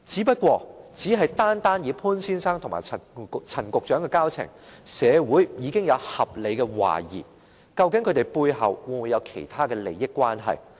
不過，單以潘先生和陳局長的交情，社會已可合理懷疑他們背後會否有其他利益關係。